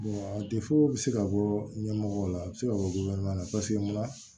bɛ se ka bɔ ɲɛmɔgɔw la a bɛ se ka bɔ na paseke munna